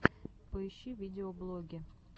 поищи видеоблоги